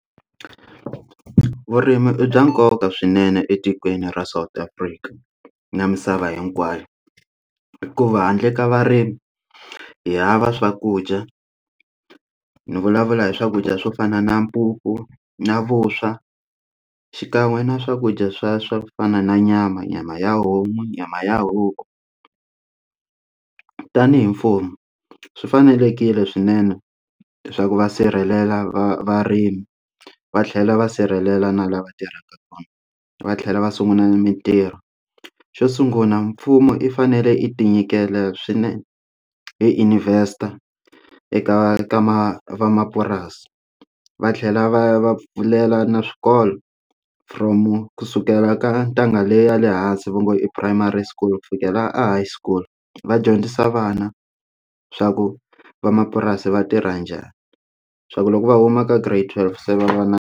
Vurimi i bya nkoka swinene etikweni ra South Africa na misava hinkwayo hikuva handle ka varimi hi hava swakudya ni vulavula hi swakudya swo fana na mpupu na vuswa xikan'we na swakudya swa swa fana na nyama nyama ya homu nyama ya huku tanihi mfumo swi fanelekile swinene swa ku va sirhelela va varimi va tlhela va sirhelela na lava tirhaka kona va tlhela va sungula mitirho xo sungula mfumo i fanele i tinyikela swinene hi investa eka ka ma vamapurasi va tlhela va va pfulela na swikolo from kusukela ka ntanga leyi ya le hansi va ngo i primary school Ku fikela a high school va dyondzisa vana swa ku vamapurasi va tirha njhani swa ku loko va huma ka Grade twelve se va va na.